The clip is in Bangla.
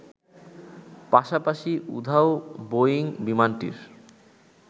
পাশাপাশি, উধাও বোয়িং বিমানটির